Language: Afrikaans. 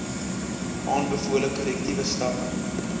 aanbevole korrektiewe stappe